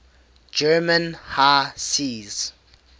german high seas